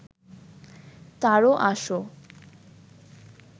তারো আসো